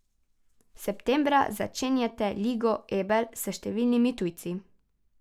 Septembra začenjate Ligo Ebel s številnimi tujci.